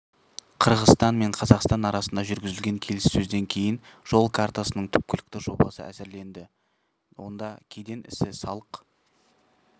қырғызстан мен қазақстан арасында жүргізілген келіссөзден кейін жол картасының түпкілікті жобасы әзірленді онда кеден ісі салық